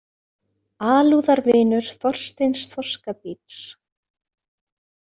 Alúðarvinur Þorsteins þorskabíts.